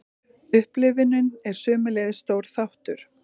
Upplifunin er sömuleiðis stór þáttur.